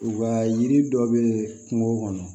U ka yiri dɔ bɛ kungo kɔnɔ